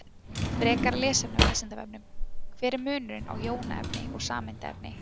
Frekara lesefni á Vísindavefnum: Hver er munurinn á jónaefni og sameindaefni?